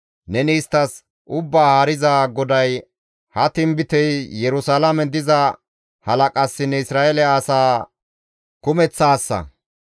Neni isttas, ‹Ubbaa Haariza GODAY ha tinbitey: Yerusalaamen diza halaqassinne Isra7eele asa kumeththassa›